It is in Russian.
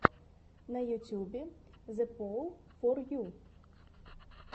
на ютюбе зэпоулфорю